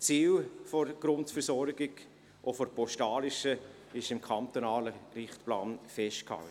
Das Ziel der Grundversorgung, auch der postalischen, ist im kantonalen Richtplan festgehalten.